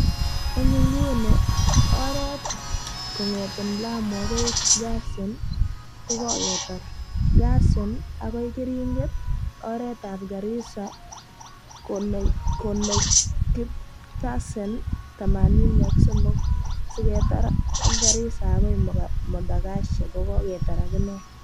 En inguni, Oret kong'eten Lamu agoi Garsen ko koketar, Garsen-keringet-Oretab Garissa konekit pasen thamanini ak somok siketar ak Garissa akoi Modogashe koketar akine.